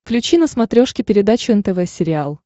включи на смотрешке передачу нтв сериал